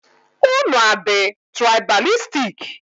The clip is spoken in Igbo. Unu adị tụraịbalistik?